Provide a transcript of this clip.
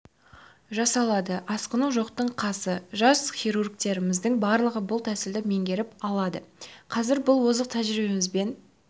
жасалады асқыну жоқтың қасы жас хирургтеріміздің барлығы бұл тәсілді меңгеріп алды қазір бұл озық тәжірибемізбен